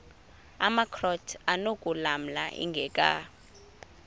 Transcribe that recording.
amakrot anokulamla ingeka